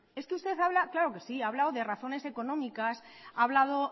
es que usted habla claro que sí ha hablado de razones económicas ha hablado